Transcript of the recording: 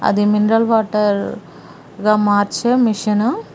అది mineral water గా మార్చే మిషను .